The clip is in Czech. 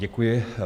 Děkuji.